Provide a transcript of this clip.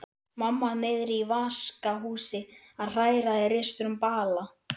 Mamma niðri í vaskahúsi að hræra í risastórum bala.